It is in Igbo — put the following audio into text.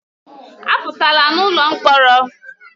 Apụtala n'ụlọ mkpọrọ!